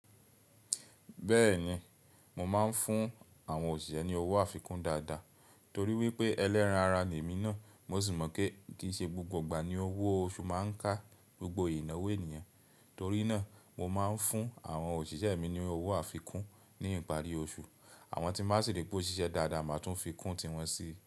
Bẹ́ẹ̀ni, mo máa ń fún àwọn òṣìṣẹ́ ní owó àfikún dáadáa torí wípé ẹlẹ́ran ara ni èmi náà. Mo sì mọ̀ pé kì í ṣe gbogbo ìgbà ni owó oṣù máa ń ká gbogbo ìnáwó ènìyàn. Torí náà, mo máa ń fún àwọn òṣìṣẹ́ mi ní owó àfikún ní ìparí oṣù. Àwọn tí máa sì rí pé ó ṣiṣẹ́ dáadáa, màá tún fi kún tiwọn sí.